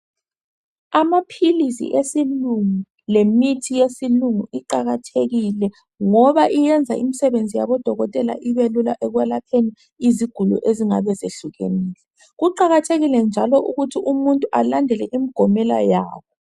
Amaphilisi esilungu lemithi yesilungu iqakathekile ngoba iyenza imisebenzi yabodokotela ibelula ekwelapheni iziguli ezingabe zehlukenile .Kuqakathekile njalo ukuthi umuntu alandele imigomela yabo.